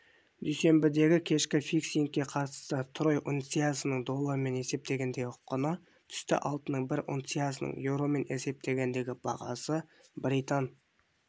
дүйсенбідегікешкі фиксингке қатысты трой унциясының доллармен есептегендегі құны түсті алтынның бір унциясының еуромен есептегендегі бағасы британ